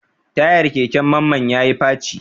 Tayar keken Mamman ya yi faci.